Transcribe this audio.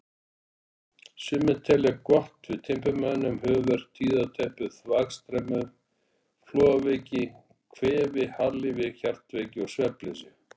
Sumir telja það gott við timburmönnum, höfuðverk, tíðateppu, þvagstemmu, flogaveiki, kvefi, harðlífi, hjartveiki og svefnleysi.